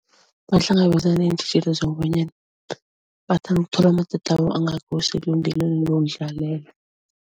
Bahlangabezana neentjhijilo zokobanyana bathanda ukuthola amatatawu lokudlalela.